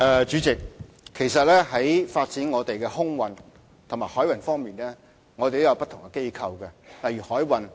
主席，在發展香港的空運和海運方面，我們有不同的機構負責。